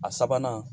A sabanan